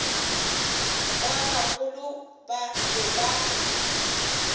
ba bagolo ba be ba